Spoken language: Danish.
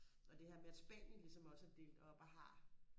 og det her med at Spanien ligesom også er delt op og har